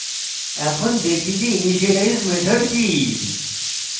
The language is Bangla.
এখন দেখি যে initialize method কি